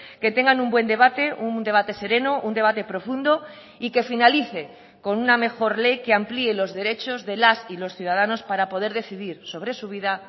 que tengan un buen debate un debate sereno un debate profundo y que finalice con una mejor ley que amplíe los derechos de las y los ciudadanos para poder decidir sobre su vida